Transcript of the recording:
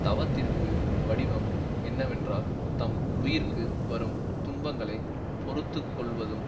தவத்திற்கு வடிவம் என்னவென்றால் தம் உயிர்க்கு வரும் துன்பங்களை பொறுத்து கொள்ளுவதும்